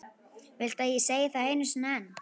Viltu að ég segi það einu sinni enn?